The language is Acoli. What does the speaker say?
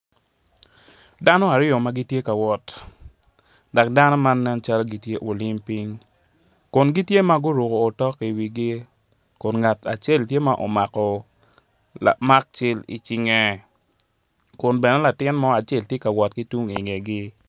Dano aryo ma gitye ka wot tye ka nyuto jo ma guruko ruk me myel nencalo gitye ka myelo myel me tekwaro pien ka ineno keny tye bul ma kitye ka goyone.